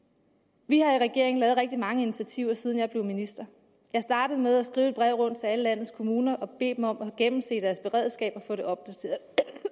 regeringen lavet rigtig mange initiativer siden jeg blev minister jeg startede med at skrive et brev rundt til alle landets kommuner og bede dem om at gennemse deres beredskab og få det opdateret